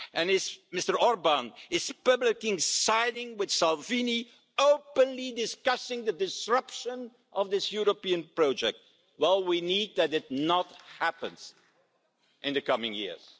If Mr Orbán is publicly siding with Salvini, openly discussing the disruption of this European project, well, we need that not to happen in the coming years.